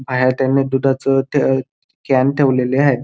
बाहेर त्यांनी दुधाच ते कॅन्ड ठेवलेले आहेत.